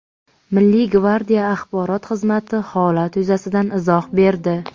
Milliy gvardiya Axborot xizmati holat yuzasidan izoh berdi.